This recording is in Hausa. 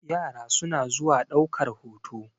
yara suna zuwa daukar hoto